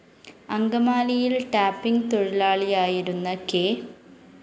അങ്കമാലിയില്‍ tapping തൊഴിലാളിയായിരുന്ന K